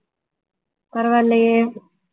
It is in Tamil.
பரவாயில்லையே